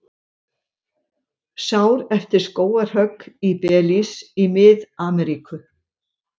Sár eftir skógarhögg í Belís í Mið-Ameríku.